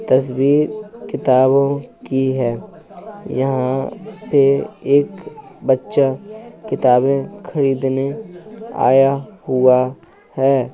तस्वीर किताबों की है। यहाँ पे एक बच्चा किताबें खरीदने आया हुआ है।